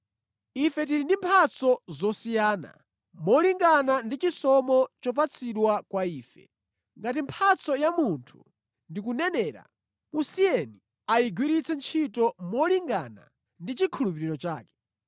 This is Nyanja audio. Ife tili ndi mphatso zosiyana, molingana ndi chisomo chopatsidwa kwa ife. Ngati mphatso ya munthu ndi kunenera, musiyeni ayigwiritse ntchito molingana ndi chikhulupiriro chake.